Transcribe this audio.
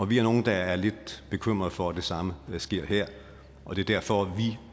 vi er nogle der er lidt bekymret for at det samme sker her og det er derfor